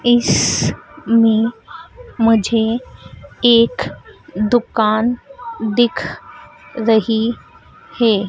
इसमें मुझे एक दुकान दिख रही है।